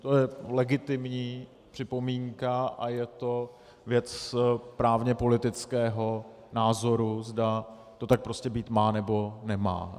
To je legitimní připomínka a je to věc právně-politického názoru, zda to tak prostě být má, nebo nemá.